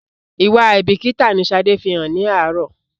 Ìwà àìbíkíkà ni Sade fí hàn ní àárọ̀